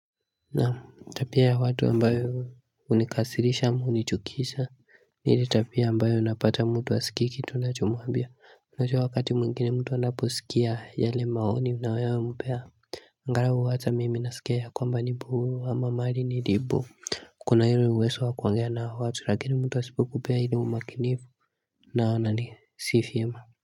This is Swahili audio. Naam tabia ya watu ambayo hunikasirisha am hunichukisha ni ile tabia ambayo unapata mtu hasikii kitu unachomwambia unajua wakati mwingine mtu anaposikia yale maoni unayompea angalau hata mimi nasikia ya kwamba nipo ama mahali nilipo Kuna hili uwezo wa kuongea na watu lakini mtu wa asipokupea ile umakinifu naona ni si vyema.